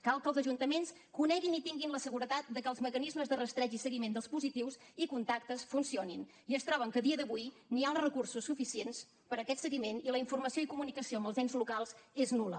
cal que els ajuntaments coneguin i tinguin la seguretat de que els mecanismes de rastreig i seguiment dels positius i contactes funcionin i es troben que a dia d’avui no hi ha els recursos suficients per a aquest seguiment i la informació i comunicació amb els ens locals és nul·la